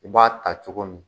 U b'a ta cogo min